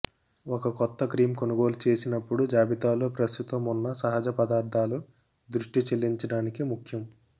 ఒక కొత్త క్రీమ్ కొనుగోలు చేసినప్పుడు జాబితాలో ప్రస్తుతం ఉన్న సహజ పదార్థాలు దృష్టి చెల్లించటానికి ముఖ్యం